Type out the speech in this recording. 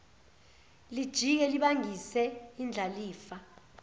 lijike libangise indlalifa